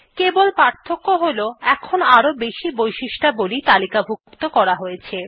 কেবল পার্থক্য হল এখন আরও বেশি বৈশিষ্ট্যাবলী তালিকাভুক্ত করা হয়েছে